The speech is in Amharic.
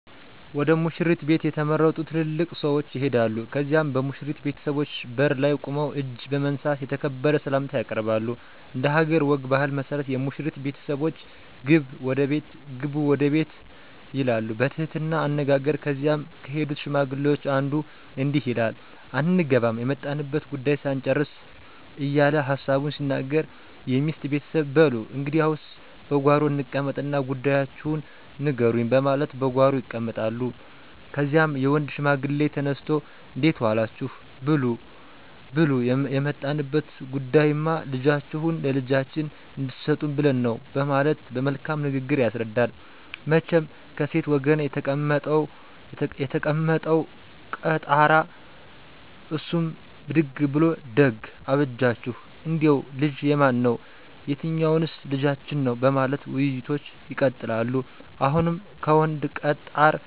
ወደ ሙሽሪት ቤት የተመረጡ ትልልቅ ሰዎች ይሄዳሉ ከዚያም በሙሽሪት ቤተሰቦች በር ላይ ቁመው እጅ በመንሳት የተከበረ ሰላምታ ያቀርባሉ። እንደሀገር ወግ ባህል መሠረት የሙሽሪት ቤተሰቦች ግቡ ወደ ቤት ይላሉ በትህትና አነጋገር ከዚያም ከሄዱት ሽማግሌዎች አንዱ እንዲህ ይላል አንገባም የመጣንበትን ጉዳዩ ሳንጭርስ እየለ ሀሳቡን ሲናገር የሚስት ቤተሰብ በሉ እንግዲያስ በጓሮ እንቀመጥ እና ጉዳያችሁን ንገሩኝ በማለት በጓሮ ይቀመጣሉ። ከዚያም የወንድ ሽማግሌ ተነስቶ እንዴት ዎላችሁ ብሉ የመጣንበት ጉዳይማ ልጃችሁን ለልጃችን እንድሰጡን ብለን ነው በማለት በመልካም ንግግር ያስረዳል። መቸም ከሴት ወገን የተቀመጠው ቀጣራ እሱም ብድግ ብሉ ደግ አበጃችሁ እንዴው ልጁ የማን ነው የትኞዎንስ ልጃችን ነው በማለት ውይይቶች ይቀጥላሉ። አሁንም ከወንድ ቀጣር አንዱ ይነሱና ልጅ የተከበረ ጭዎ የገሌ ልጅ ነው